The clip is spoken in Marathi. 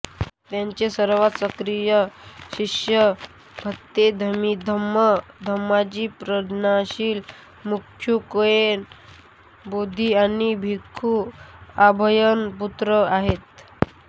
त्यांचे सर्वात सक्रिय शिष्य भंते बोधीधम्म धम्माजी प्रज्ञाशील भिक्खु केन बोधी आणि भिक्खु अभयपुत्र आहेत